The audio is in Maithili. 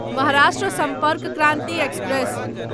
महाराष्ट्र सम्पर्क क्रान्ति एक्सप्रेस